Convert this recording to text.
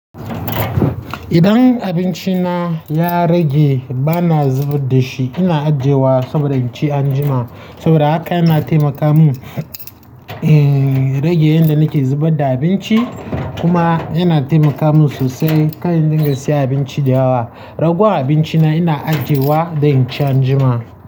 Idan abinci na ya rage bana zubar da shi, ina ajiyewa saboda in ci anjima. Saboda haka yana taimaka mun, eh rage yanda nake zubarda abinci kuma yana taimaka mun sosai kar in din ga siyan abinci da yawa. Ragowar abinci na ina ajiye wa da in ci an jima.